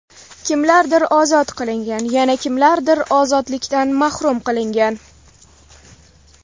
Kimlardir ozod qilingan, yana kimlardir ozodlikdan mahrum qilingan.